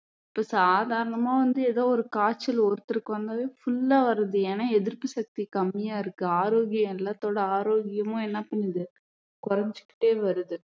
இப்ப சாதாரணமா வந்து ஏதொ ஒரு காய்ச்சல் ஒருத்தருக்கு வந்தாலும் full ஆ வருது ஏன்னா எதிர்ப்பு சக்தி கம்மியா இருக்கு ஆரோக்கியம் எல்லாத்தோட ஆரோக்கியமும் என்ன பண்ணுது குறைஞ்சுகிட்டே வருது